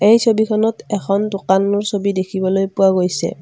এই ছবিখনত এখন দোকানৰ ছবি দেখিবলৈ পোৱা গৈছে।